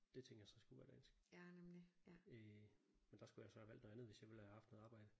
Det tænkte jeg så skulle være dansk. Øh men der skulle jeg så have valgt noget andet hvis jeg ville have haft noget arbejde